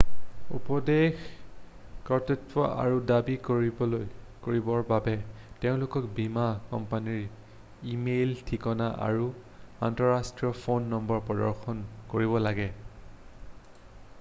উপদেশ/কৰ্তৃত্ব আৰু দাবী কৰিবৰ বাবে তেওঁলোকে বীমা কোম্পানীৰ ই-মেইল ঠিকনা আৰু আন্তঃৰাষ্ট্ৰীয় ফোন নম্বৰ প্ৰদৰ্শন কৰিব লাগিব।